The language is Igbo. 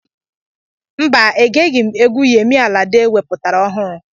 Mba, egeghị m egwu Yemi Alade wepụtara ọhụrụ